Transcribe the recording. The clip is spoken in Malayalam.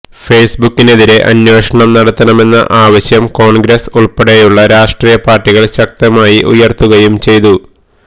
ഫേസ്ബുക്കിനെതിരെ അന്വേഷണം നടത്തണമെന്ന ആവശ്യം കോൺഗ്രസ് ഉൾപ്പെടെയുള്ള രാഷ്ട്രീയ പാർട്ടികൾ ശക്തമായി ഉയര്ത്തുകയും ചെയ്തു